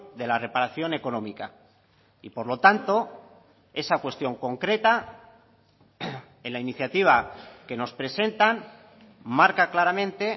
de la reparación económica y por lo tanto esa cuestión concreta en la iniciativa que nos presentan marca claramente